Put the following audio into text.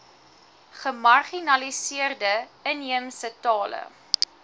gemarginaliseerde inheemse tale